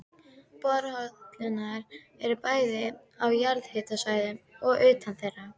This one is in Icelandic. Borholurnar eru bæði á jarðhitasvæðum og utan þeirra.